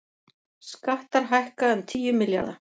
Skattar hækka um tíu milljarða